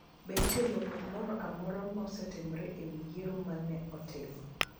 Be nitie lokruok moro amora mosetimore e wi yiero ma ne otim?